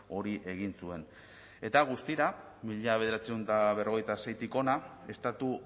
hori egin zuen eta guztira mila bederatziehun eta berrogeita seitik hona estatu